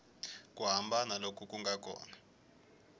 ku hambana loku nga kona